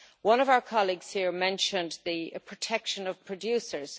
One of our colleagues here mentioned the protection of producers.